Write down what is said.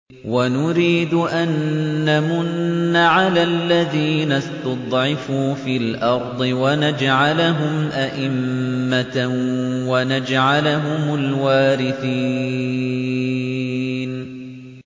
وَنُرِيدُ أَن نَّمُنَّ عَلَى الَّذِينَ اسْتُضْعِفُوا فِي الْأَرْضِ وَنَجْعَلَهُمْ أَئِمَّةً وَنَجْعَلَهُمُ الْوَارِثِينَ